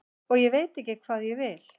og ég veit ekki hvað ég vil.